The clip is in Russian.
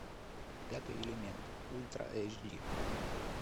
пятый элемент ультра эйч ди